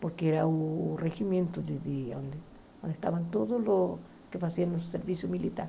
porque era o regimento de de onde estavam todos os que faziam o serviço militar.